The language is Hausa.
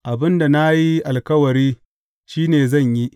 Abin da na yi alkawari, shi ne zan yi.